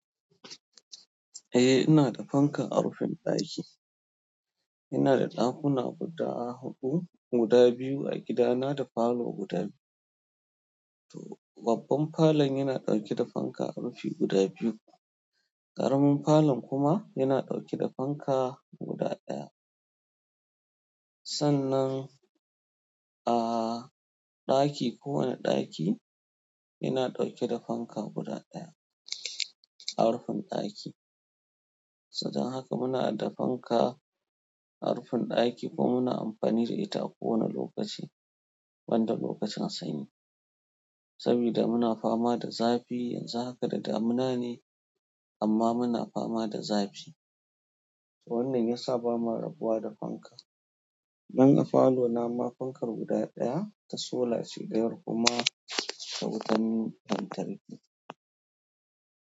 Eh ina da fanka a rufin ɗaki. Ina da ɗakuna guda huɗu, guda biyu a gidana da falo guda biyu. To babban falon yana ɗauke da fanka a rufi guda biyu, ƙaramin falon kuma yana ɗauke da fanka guda ɗaya. Sannan, ahhh, ɗaki kowane ɗaki yana ɗauke da fanka guda ɗaya a rufin ɗaki. Saboda haka muna da fanka a rufin ɗaki kuma muna amfani da ita a kowane lokaci, ban da lokacin sanyi. Saboda muna fama da zafi, yanzu haka da damuna ne amma muna fama da zafi. To wannan ya sa ba ma rabuwa da fanka. Ni a falona ma fankar guda ɗaya ta sola ce ɗayar kuma ta wutan lantarki.